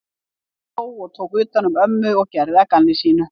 Hann hló, tók utan um ömmu og gerði að gamni sínu.